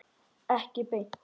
Ekki beint.